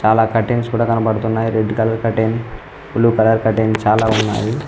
అలా కర్టెన్స్ కూడ కనబడుతున్నాయి red colour curtain blue colour curtain చాలా ఉన్నాయి.